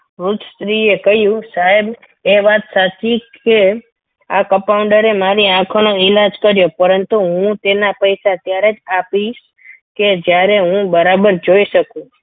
સ્ત્રીએ કહ્યું સાહેબ એ વાત સાચી કે આ compounder એ મારી આંખોનો ઈલાજ કર્યો પરંતુ હું તેના પૈસા ત્યારે જ આપીશ કે જ્યારે હું બરાબર જોઈ શકું.